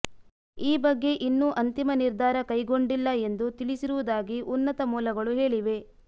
ಈ ಬಗ್ಗೆ ಇನ್ನೂ ಅಂತಿಮ ನಿರ್ಧಾರ ಕೈಗೊಂಡಿಲ್ಲ ಎಂದು ತಿಳಿಸಿರುವುದಾಗಿ ಉನ್ನತ ಮೂಲಗಳು ಹೇಳಿವೆ